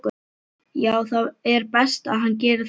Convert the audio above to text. Já það er best að hann geri það.